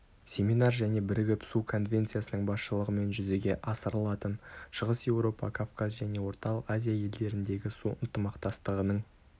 семинар және бірігіп су конвенциясының басшылығымен жүзеге асрылатын шығыс еуропа кавказ және орталық азия елдеріндегі су ынтымақтастығының